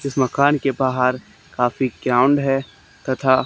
इस मकान के बाहर काफी है तथा--